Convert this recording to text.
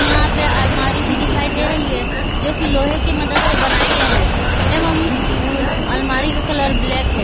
यहां पे अलमारी भी दिखाई दे रही है जो की लोहे की मदद से बनाया गया है एवं अलमारी का कलर ब्लैक है।